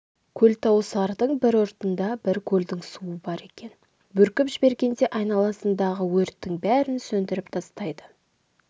көлтауысардьң бір ұртында бір көлдің суы бар екен бүркіп жібергенде айналасындағы өрттің бәрін сөндіріп тастайды